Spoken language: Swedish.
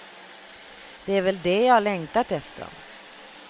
Det är väl det jag längtat efter.